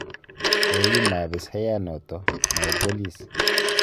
Kogima abisayanoto, mwae bolis